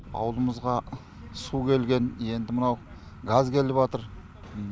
ауылымызға су келген енді мынау газ келіватыр